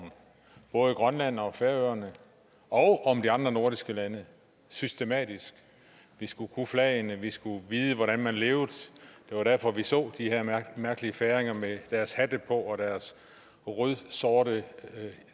om både grønland og færøerne og om de andre nordiske lande systematisk vi skulle kunne flagene vi skulle vide hvordan man levede det var derfor vi så de her mærkelige færinger med deres hatte på og deres rødsorte